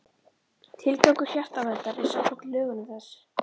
Tilgangur Hjartaverndar er samkvæmt lögunum þessi